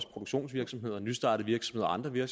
produktionsvirksomheder nystartede virksomheder